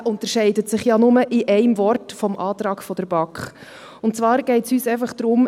Er unterscheidet sich ja nur in einem Wort vom Antrag der BaK, und zwar geht es uns einfach darum …